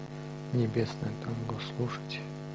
небесное танго слушать